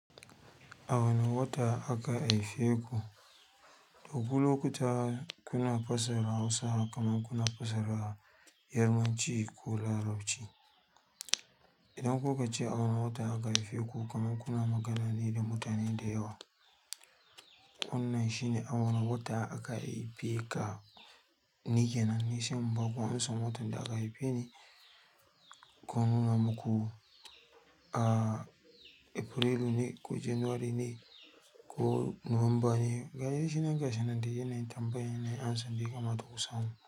A wane wata aka aife ku? To ku lokuta kuna fassara Hausa kaman kuna fassara Yarbanci ko Larabci. Idan ku kace a wani wata aka haife ku kaman kuna magana ne da mutane da yawa. Wannan shine a wani wata aka haife ka? Ni kenan ni sai baku amsan watan da aka haife ni, ko nuna muku a Afirelu ne ko Jenwari ne ko Nuwamba ne. Ga dai shi nan gashi nan dai yanayin tambayan nayi amsan da ya kamata ku samu.